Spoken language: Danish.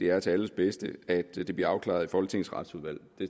er til alles bedste at det bliver afklaret i folketingets retsudvalg